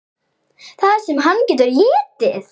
Það sem hann getur étið!